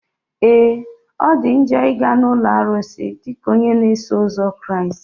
Ee! Ọ dị njọ ị ga na ụlọ arụsị dịka onye na-eso ụzọ Kraịst.